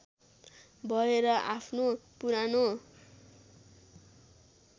भएर आफ्नो पुरानो